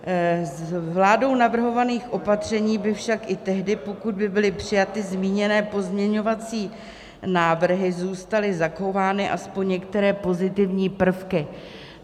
Z vládou navrhovaných opatření by však i tehdy, pokud by byly přijaty zmíněné pozměňovací návrhy, zůstaly zachovány aspoň některé pozitivní prvky.